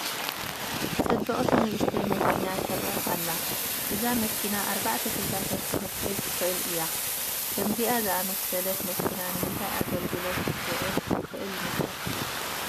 ፅብቕቲ ንኡሽተይ መኪና ትርአ ኣላ፡፡ እዛ መኪና ኣርባዕተ ተሳፈርቲ ክትሕዝ ትኽእል እያ፡፡ ከምዚኣ ዝኣምሰለት መኪና ንምንታይ ግልጋሎት ክትውዕል ትኽእል ይመስለኩም?